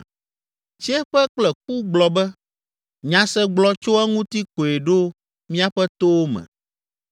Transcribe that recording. Tsiẽƒe kple ku gblɔ be, ‘Nyasegblɔ tso eŋuti koe ɖo míaƒe towo me.’